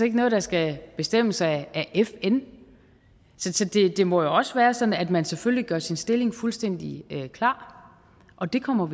ikke noget der skal bestemmes af fn det må jo også være sådan at man selvfølgelig gør sin stilling fuldstændig klar og det kommer